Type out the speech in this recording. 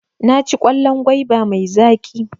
Naci kwallon gwaiba mai zaƙi.